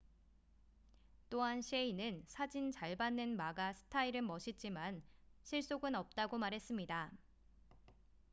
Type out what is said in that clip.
또한 셰이는 사진 잘 받는 마가 스타일은 멋있지만 실속은 없다고 말했습니다